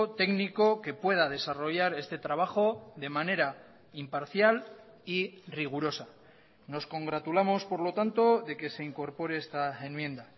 técnico que pueda desarrollar este trabajo de manera imparcial y rigurosa nos congratulamos por lo tanto de que se incorpore esta enmienda